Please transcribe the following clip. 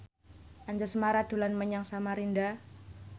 Anjasmara dolan menyang Samarinda